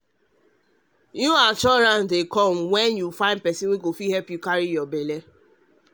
to find help when e hard person to carry belle fit bring new assurance no be lie